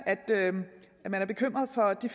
at man er bekymret for de